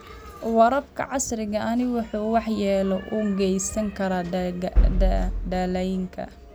Waraabka casriga ahi wuxuu waxyeelo u geysan karaa dalagyada.